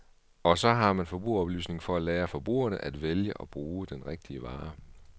Og så har man forbrugeroplysning for at lære forbrugerne at vælge og bruge den rigtige vare.